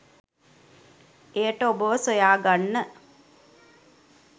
එයට ඔබව සොයාගන්න